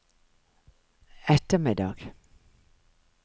ettermiddag